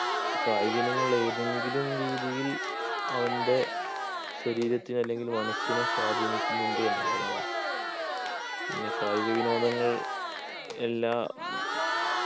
കായിക ഇനങ്ങൾ ഏതെങ്കിലും രീതിയിൽ അവൻ്റെ ശരീരത്തിന് അല്ലെങ്കിൽ മനസ്സിനെ സ്വാധീനിക്കുന്നുണ്ട് എന്നുള്ളതാണ് പിന്നെ കായിക വിനോദങ്ങൾ എല്ലാ